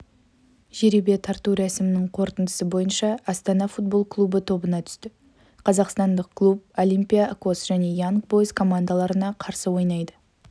жәребе тарту рәсімінің қорытындысы бойынша астана футбол клубы тобына түсті қазақстандық клуб олимпиакос және янг бойз командаларына қарсы ойнайды